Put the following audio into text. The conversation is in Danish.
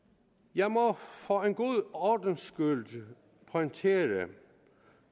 jeg må for en god ordens skyld pointere